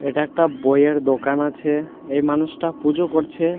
এটা একটা বইয়ের দোকান আছে এই মানুষটা পুজো করছে।